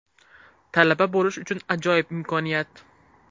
Talaba bo‘lish uchun ajoyib imkoniyat.